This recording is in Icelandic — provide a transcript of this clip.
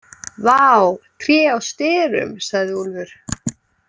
Vá, tré á sterum, sagði Úlfur.